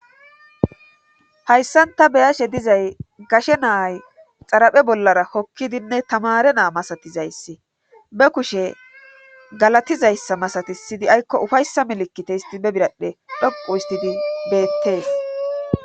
hayssanta beyashe dizay gashe naay xaraphe bollara kokkidinne tamare naa masatizayss be kushe galatizayssa masati siydi aykko ufayssa milikkite histi be biradhe dhoqu istidi beettees